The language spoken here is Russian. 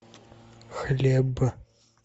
хлеб